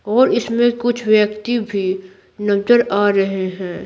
और इसमें कुछ व्यक्ति भी नजर आ रहे हैं।